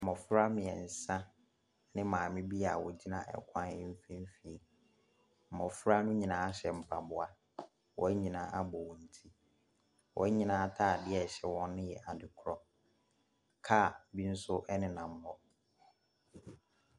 Mmɔfra mmeɛnsa ne maame bi a wɔgyina kwan no mfimfini. Mmɔfra no nyinaa hyɛ mpaboa. Wɔn nyinaa abɔ wɔn ti. Wɔn nyinaa atadeɛ a ɛhyɛ wɔn no yɛ adekorɔ. Car bi nso nenam hɔ.